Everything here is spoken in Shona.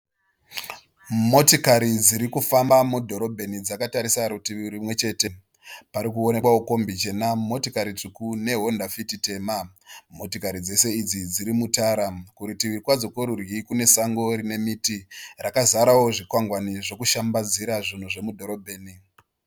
Motikari dziri kufamba mudhorobheni dzakatarisa rutivi rumwechete. Pari kuonekwawo kombi chena, motikari tsvuku neHonda fiti tema. Motikari dzose idzi dziri mutara. Kuritivi kwadzo kworudyi kune sango rine miti rakazarawo zvikwangwani zvokushambadzira zvinhu mudhorobheni.